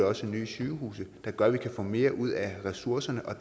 også nye sygehuse der gør at vi kan få mere ud af ressourcerne og